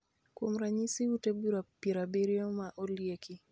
Kuom ranyisi, ute bura piero abiroyo ma olieki